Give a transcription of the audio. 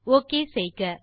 okay செய்க